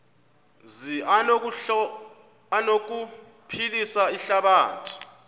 zi anokuphilisa ihlabathi